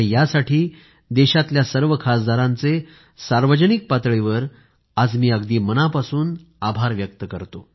यासाठी देशातल्या सर्व खासदारांचे सार्वजनिक पातळीवर आज मी अगदी मनापासून आभार व्यक्त करतो